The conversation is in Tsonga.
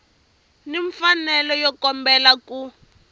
ni mfanelo yo kombela ku